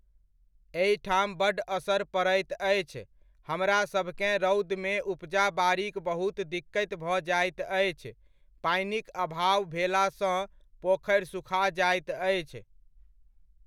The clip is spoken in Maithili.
एहिठाम बड्ड असर पड़ैत अछि, हमरासभकेँ रौदमे उपजा बारीक बहुत दिक्कति भऽ जाइत अछि, पानिक अभाव भेलासँ पोखरि सुखा जाइत अछि।